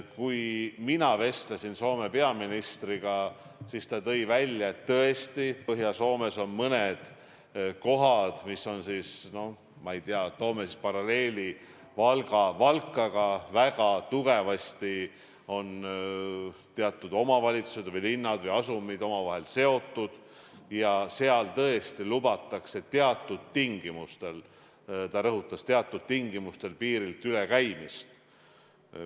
Kui mina vestlesin Soome peaministriga, siis ta tõi välja, et tõesti Põhja-Soomes on mõned kohad, kus on väga tugevasti teatud omavalitsused või linnad või asumid omavahel seotud, ja seal tõesti lubatakse teatud tingimustel – ta rõhutas: teatud tingimustel – piiriületamist.